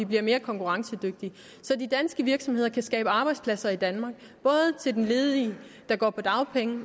bliver mere konkurrencedygtige så de danske virksomheder kan skabe arbejdspladser i danmark både til de ledige der går på dagpenge